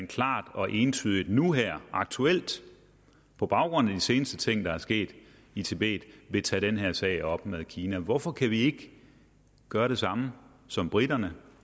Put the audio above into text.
klart og entydigt nu her aktuelt på baggrund af de seneste ting der er sket i tibet vil tage den her sag op med kina hvorfor kan vi ikke gøre det samme som briterne